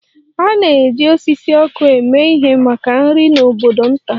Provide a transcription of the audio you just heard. A na-eji osisi ọkụ eme ihe maka nri n'obodo nta.